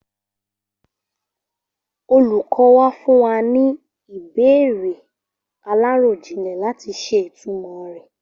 Olùkọ́ wa fún wa ní ìbéèrè aláròjinlè láti ṣe ìtumọ̀ re.